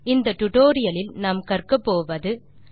இந்த டுடோரியலின் முடிவில் உங்களால் பின் வருவனவற்றை செய்ய முடியும்